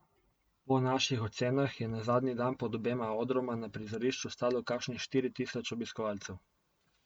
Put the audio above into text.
Po naših ocenah je zadnji dan pod obema odroma na prizorišču stalo kakšnih štiri tisoč obiskovalcev.